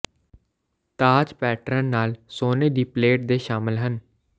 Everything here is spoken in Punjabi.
ਤਾਜ ਪੈਟਰਨ ਨਾਲ ਸੋਨੇ ਦੀ ਪਲੇਟ ਦੇ ਸ਼ਾਮਲ ਹਨ